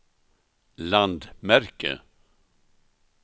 landmärke